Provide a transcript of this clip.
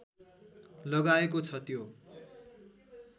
लगाएको छ त्यो